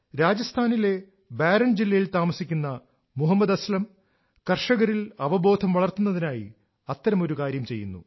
രാജസ്ഥാനിലെ ബാരൻ ജില്ലയിൽ താമസിക്കുന്ന മുഹമ്മദ് അസ്ലം കർഷകരിൽ അവബോധം വളർത്തുന്നതിനായി അത്തരമൊരു കാര്യം ചെയ്യുന്നു